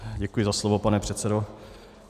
Děkuji za slovo, pane předsedo.